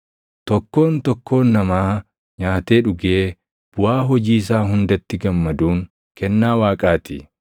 Tokkoon tokkoon namaa nyaatee dhugee buʼaa hojii isaa hundatti gammaduun kennaa Waaqaa ti.